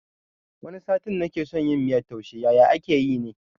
Wani satin nake son yin miyan taushe yaye ake yi ne?